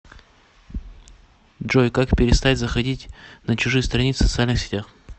джой как перестать заходить на чужие страницы в социальных сетях